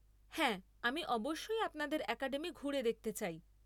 হ্যাঁ, আমি অবশ্যই আপনাদের অ্যাকাডেমি ঘুরে দেখতে চাই।